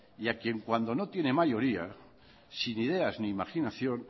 y a quien cuando no tiene mayoría sin ideas ni imaginación